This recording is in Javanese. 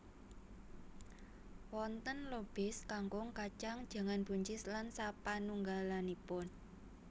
Wonten lobis kangkung kacang jangan buncis lan sapanunggalanipun